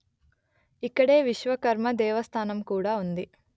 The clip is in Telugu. ఇక్కడే విశ్వకర్మ దేవస్థానం కూడా ఉంది